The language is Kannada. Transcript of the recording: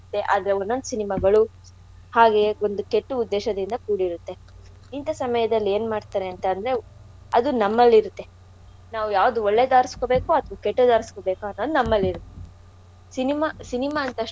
ಆದ್ರೆ ಒನ್ ಒಂದ್ cinema ಗಳು ಹಾಗೆ ಒಂದು ಕೆಟ್ಟು ಉದ್ದೇಶದಿಂದ ಕೂಡಿರುತ್ತೆ. ಇಂಥಾ ಸಮಯದಲ್ ಏನ್ ಮಾಡ್ತಾರೆ ಅಂತ ಅಂದ್ರೆ ಅದು ನಮ್ಮಲ್ಲಿರುತ್ತೆ. ನಾವು ಯಾವ್ಡ್ ಒಳ್ಳೇದ್ ಆರುಸ್ಕೋಬೇಕೋ ಅಥ್ವಾ ಕೆಟ್ಟುದ್ ಆರುಸ್ಕೋಬೇಕೋ ಅನ್ನೋದ್ ನಮ್ಮಲ್ಲಿರುತ್ತೆ. Cinema cinema ಅಂದ್ ತಕ್ಷಣ ನಮ್ಗ್ ಇನ್ನಾ.